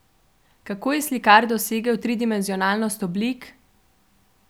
Kako je slikar dosegel tridimenzionalnost oblik?